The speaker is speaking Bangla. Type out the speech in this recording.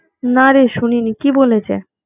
নারে শুনিনি, কি বলেছে?